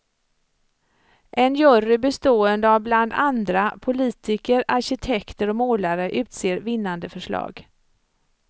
En jury bestående av bland andra politiker, arkitekter och målare, utser vinnande förslag.